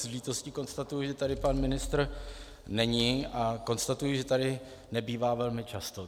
S lítostí konstatuji, že tady pan ministr není, a konstatuji, že tady nebývá velmi často.